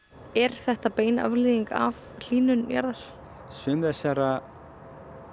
er þetta bein afleiðing af hlýnun jarðar sumar þessara